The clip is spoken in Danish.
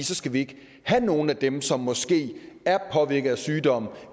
så skal de ikke have nogen af dem som måske er påvirket af sygdom